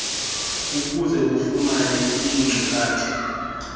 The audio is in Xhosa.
ukuze ufumane iinkcukacha